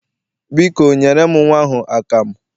Biko, nyere m nnwa ahụ akamụ.